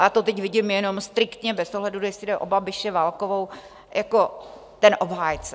A já to teď vidím jenom striktně bez ohledu, jestli jde o Babiše, Válkovou jako ten obhájce.